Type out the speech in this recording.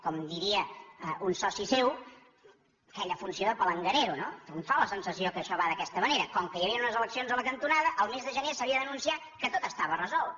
com diria un soci seu aquella funció de palanganero no un té la sensació que això va d’aquesta manera com que hi havien unes eleccions a la cantonada el mes de gener s’havia d’anunciar que tot estava resolt